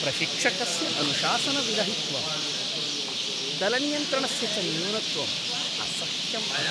प्रशिक्षकस्य अनुशासनविरहित्वं दलनियन्त्रणस्य च न्यूनत्वं असह्यम् अस्ति।